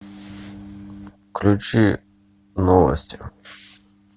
включи новости